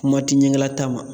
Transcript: Kuma ti ɲɛgɛlataa ma